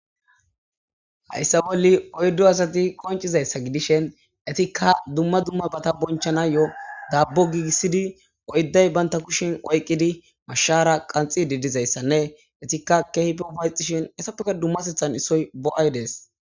hayssa bolli oyddo asati qoncizayssa gidishen etikka dumma dumma bata bonchana yo7 daabbo giigissidi oyday baynta kushin oyqqidi mashshara qanxidi dizayssanne etikka kehpe upayxishin hessafeka dumma sethan isoy bo7aydees.